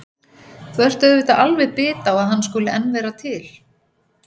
Þú ert auðvitað alveg bit á að hann skuli enn vera til.